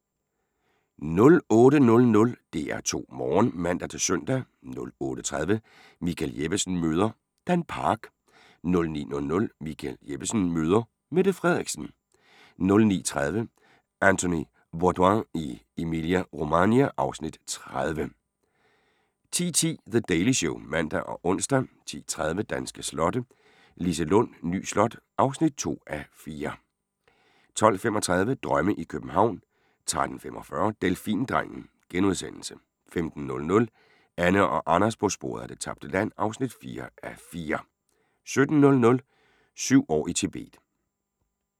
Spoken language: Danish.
08:00: DR2 Morgen (man-søn) 08:30: Michael Jeppesen møder ... Dan Park 09:00: Michael Jeppesen møder ... Mette Frederiksen 09:30: Anthony Bourdain i Emilia-Romagna (Afs. 30) 10:10: The Daily Show (man og ons) 10:30: Danske slotte: Liselund Ny Slot (2:4) 12:35: Drømme i København 13:45: Delfindrengen * 15:00: Anne og Anders på sporet af det tabte land (4:4) 17:00: Syv år i Tibet